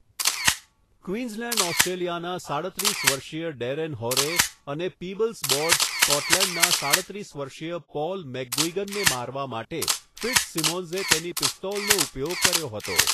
Queensland, ઓસ્ટ્રેલિયાના સાડત્રીસ વર્ષીય ડેરેન હોરે અને પીબલ્સ બોર્ડર્સ, સ્કોટલેન્ડના સડત્રીસ વર્ષીય પોલ મેકગુઇગનને મારવા માટે ફિટ્ઝસિમોન્સે તેની પિસ્તોલનો ઉપયોગ કર્યો હતો.